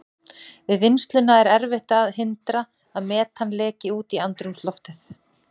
Við vinnsluna er erfitt að hindra að metan leki út í andrúmsloftið.